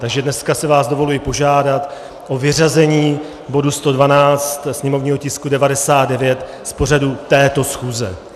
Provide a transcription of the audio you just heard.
Takže dneska si vás dovoluji požádat o vyřazení bodu 112, sněmovního tisku 99, z pořadu této schůze.